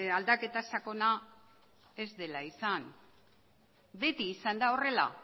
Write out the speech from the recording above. aldaketa sakona ez dela izan beti izan da horrela